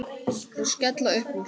Þau skella upp úr.